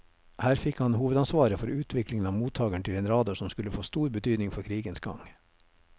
Her fikk han hovedansvaret for utviklingen av mottageren til en radar som skulle få stor betydning for krigens gang.